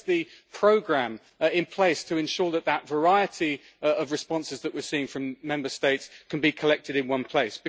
Where is the programme in place to ensure that that variety of responses that we're seeing from Member States can be collected in one place?